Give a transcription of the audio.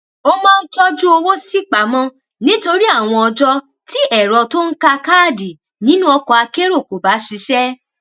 ó máa ń tójú owó sípamó nítorí àwọn ọjó tí ẹrọ tó n ka káàdì nínú ọkọakérò kò bá ṣiṣé